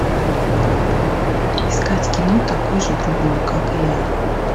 искать кино такой же другой как и я